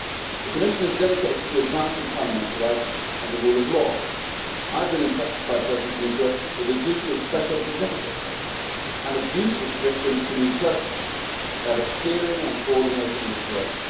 The Commission is dedicated to advancing fundamental rights and the rule of law. I have been entrusted by President Juncker with a duty of special significance and of huge significance to me personally that of steering and coordinating this work.